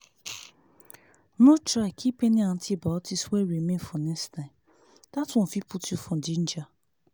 no try keep any antibiotics wey remain for next time that one fit put you for danger.